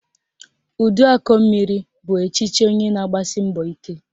Uduakọmmiri bụ echiche onye na-agbasi mbọ ike